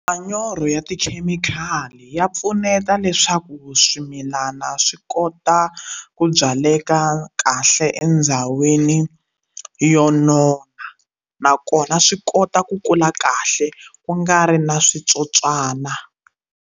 Manyoro ya tikhemikhali ya pfuneta leswaku swimilana swi kota ku byaleka kahle endhawini yo nona nakona swi kota ku kula kahle ku nga ri na switsotswana.